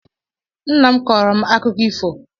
Nna m kpọọrọ m akụkọ ifo